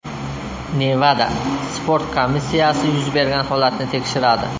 Nevada sport komissiyasi yuz bergan holatni tekshiradi.